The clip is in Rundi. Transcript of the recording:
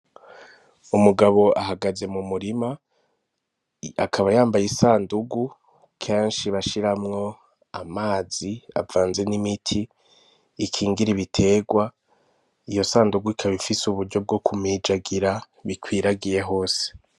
Umugabo ahagaze mumurima, akaba yambaye isandugu, kenshi bashiramwo amazi avanze n'imiti, ikingira ibiterwa, iyo sandugu ikaba ifise uburyo bwo kumijagira, bikwiragiye hose.